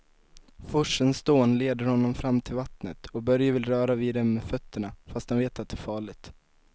Forsens dån leder honom fram till vattnet och Börje vill röra vid det med fötterna, fast han vet att det är farligt.